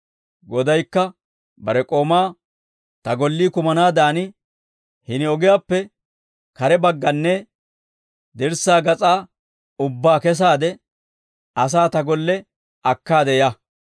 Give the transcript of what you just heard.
Godaykka bare k'oomaa, ‹Ta gollii kumanaadan hini ogiyaappe kare bagganne dirssaa gas'aa ubbaa kesaade, asaa ta golle akkaade ya.